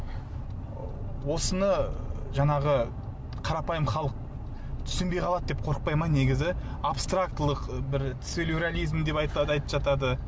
осыны жаңағы қарапайым халық түсінбей қалады деп қорықпай ма негізі абстрактілік бір сюрреализм деп айтып жатады